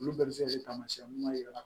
Olu bɛɛ bɛ se ka kɛ taamasiyɛn ɲuman ye